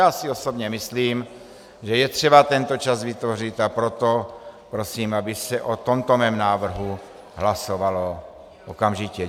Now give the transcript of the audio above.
Já si osobně myslím, že je třeba tento čas vytvořit, a proto prosím, aby se o tomto mém návrhu hlasovalo okamžitě.